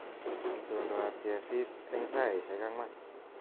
Itondoab kesis eng saishek anwan